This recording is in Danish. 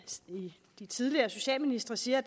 de tidligere socialministre siger at